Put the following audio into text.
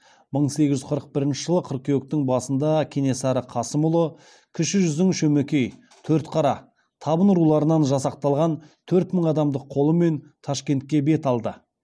мың сегіз жүз қырық бірінші жылы қыркүйектің басында кенесары қасымұлы кіші жүздің шөмекей төртқара табын руларынан жасақталған төрт мың адамдық қолымен ташкентке бет алды